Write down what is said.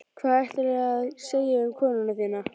Hvað ætlaðirðu að segja um konuna þína?